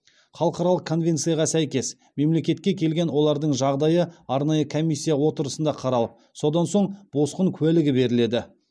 халықаралық конвенцияға сәйкес мемлекетке келген олардың жағдайы арнайы комиссия отырысында қаралып содан соң босқын куәлігі беріледі